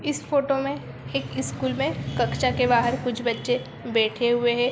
इस फोटो मे एक स्कूल मे कक्षा के बाहर कुछ बच्चे बेठे हुए हें।